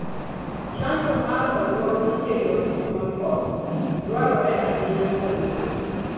Chanjo mar oduok mikelo gi smallpox dwarore ahinya kuom winy.